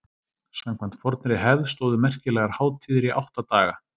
Samkvæmt fornri hefð stóðu merkilegar hátíðir í átta daga.